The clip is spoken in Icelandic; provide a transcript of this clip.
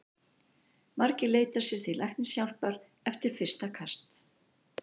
Margir leita sér því læknishjálpar eftir fyrsta kast.